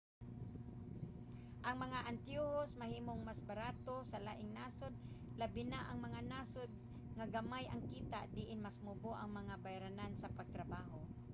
ang mga antiyohos mahimong mas barato sa laing nasod labi na ang mga nasod nga gamay ang kita diin mas mubo ang mga bayranan sa pagpatrabaho